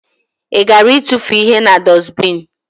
I gara itufu ihe na dusbini?